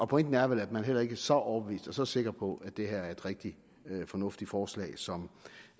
pointen er vel at man heller ikke er så overbevist og så sikker på at det her er et rigtigt fornuftigt forslag som